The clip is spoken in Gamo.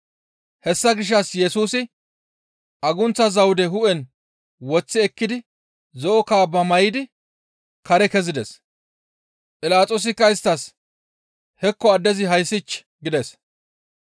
Hessa gishshas Yesusi agunththa zawude hu7en woththi ekkidi zo7o kaabba may7idi kare kezides. Philaxoosikka isttas, «Hekko addezi hayssich!» gides.